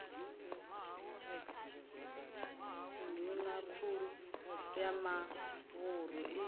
nduna khulu ya mavhuru i